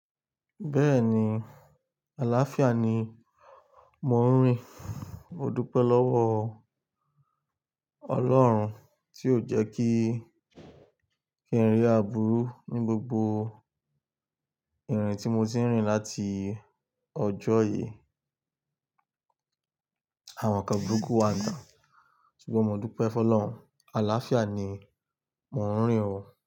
Bẹ́ẹ̀ni, àlàáfíà ni mò ń rìn. Mo dúpẹ́ lọ́wọ́ Ọlọ́run tí ó jẹ́ kí, kí n rí àbúrú ní gbogbo ìrìn tí mo ti ń rìn láti ọjọ́ yìí. Àwọn kan burúkú wa nta, ṣùgbọ́n mo dúpẹ́ f'Ọlọ́run, àlàáfíà ni mò ń rìn o.